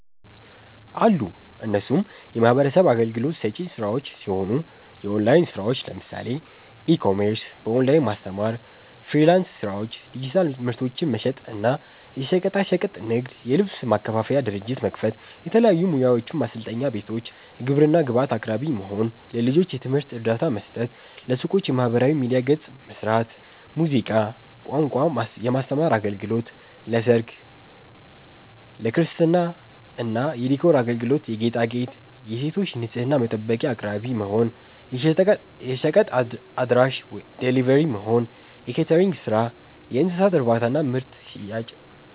አሉ እነሱም የሚህበረሰብ አገልግሎት ሰጪ ስራዎች ሲሆኑ፦ የኦላይን ስራዎች ለምሳሌ፦ ኢ-ኮሜርስ፣ በኦላይን ማስተማር፣ ፍሊራንስ ስራዎች፣ ዲጂታል ምርቶችን መሸጥ እና፣ የሸቀጣሸቀጥ ንግድ, የልብስ ማከፋፈያ ድርጅት መክፈት፣ የተለያዩ ሙያዎችን ማሰልጠኛ ቤቶች፣ የግብርና ግብአት አቅራቢ መሆን፣ ለልጆች የትምህርት እርዳታ መስጠት፣ ለሱቆች የማህበራዊ ሚዲያ ገፅ መስራት፣ ሙዚቃ፣ ቋንቋ የማስተማር አገልግሎት ለሰርግ፣ ለክርስትና የዲኮር አገልግሎት የጌጣጌጥ, የሴቶች ንፅህና መጠበቂያ አቅራቢ መሆን፣ የሸቀጥ አድራሺ(ደሊቨሪ)መሆን፣ የኬተሪንግ ስራ፣ የእንስሳት እርባታና ምርት ሽያጭ